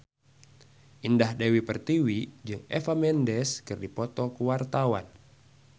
Indah Dewi Pertiwi jeung Eva Mendes keur dipoto ku wartawan